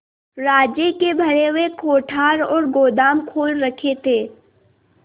राज्य के भरे हुए कोठार और गोदाम खोल रखे थे